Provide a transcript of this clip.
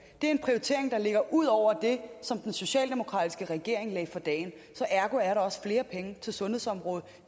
det er en prioritering der ligger ud over det som den socialdemokratiske regering lagde for dagen så ergo er der også flere penge til sundhedsområdet